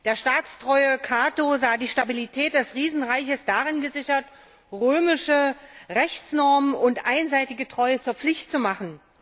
Der staatstreue Cato sah die Stabilität des Riesenreiches darin gesichert, römische Rechtsnormen und einseitige Treue zur Pflicht zu machen.